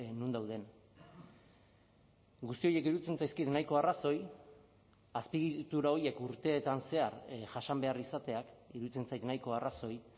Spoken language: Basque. non dauden guzti horiek iruditzen zaizkit nahiko arrazoi azpiegitura horiek urteetan zehar jasan behar izateak iruditzen zait nahiko arrazoi